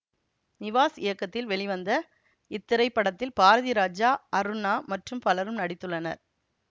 நிவாஸ் இயக்கத்தில் வெளிவந்த இத்திரைப்படத்தில் பாரதிராஜா அருணா மற்றும் பலரும் நடித்துள்ளனர்